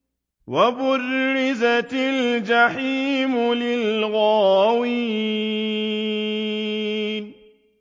وَبُرِّزَتِ الْجَحِيمُ لِلْغَاوِينَ